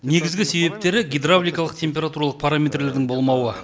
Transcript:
негізгі себептері гидравликалық температуралық параметрлерінің болмауы